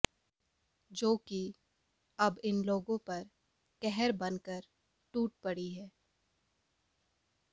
जो कि अब इन लोगों पर कहर बन कर टूट पड़ी है